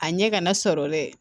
A ɲɛ kana sɔrɔ dɛ